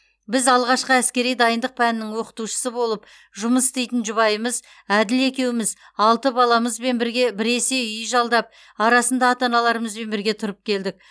біз алғашқы әскери дайындық пәнінің оқытушысы болып жұмыс істейтін жұбайымыз әділ екеуміз алты баламызмен бірге біресе үй жалдап арасында ата аналарымызбен бірге тұрып келдік